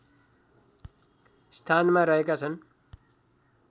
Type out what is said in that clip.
स्थानमा रहेका छन्